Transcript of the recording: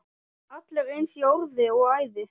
Allir eins í orði og æði.